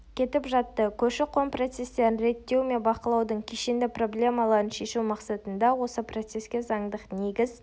кетіп жатты көші-қон процестерін реттеу мен бақылаудың кешенді проблемаларын шешу мақсатында осы процеске заңдық негіз